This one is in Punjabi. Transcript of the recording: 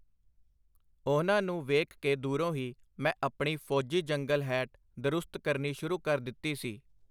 ਉਹਨਾਂ ਨੂੰ ਵੇਖ ਕੇ ਦੂਰੋਂ ਹੀ ਮੈਂ ਆਪਣੀ ਫੋਜੀ ਜੰਗਲ-ਹੈਟ ਦਰੁਸਤ ਕਰਨੀ ਸ਼ੁਰੂ ਕਰ ਦਿਤੀ ਸੀ.